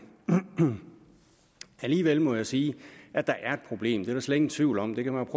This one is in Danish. alligevel må jeg sige at der er et problem det er der slet ingen tvivl om det kan man